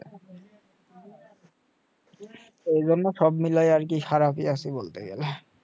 এই জন্য সব মিলিয়ে আরকি খারাপ আছি বলতে গেলে